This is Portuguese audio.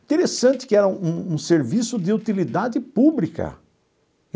Interessante que era um um serviço de utilidade pública.